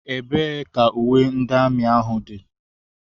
Ebee ka uwe ndị amị ahụ dị?